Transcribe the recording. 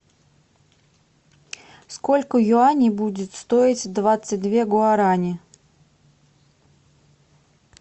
сколько юаней будет стоить двадцать две гуарани